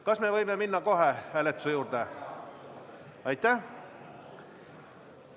Kas me võime minna kohe hääletuse juurde?